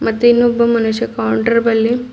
ಮತ್ತು ಇನ್ನೊಬ್ಬ ಮನುಷ್ಯ ಕೌಂಟರ್ ಬಳಿ--